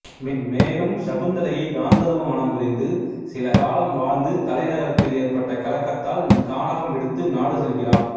மேலும் சகுந்தலையை காந்தர்வ மணம் புரிந்து சிலகாலம் வாழ்ந்து தலைநகரத்தில் ஏற்பட்ட கலகத்தால் கானகம் விடுத்து நாடு செல்கிறான்